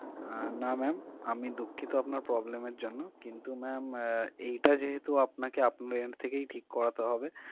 আহ না ma'am আমি দুঃখিত আপনার problem এ জন্য কিন্তু mam এটা যেহেতু আপনাকে আপনার end থেকেই ঠিক করাতে হবে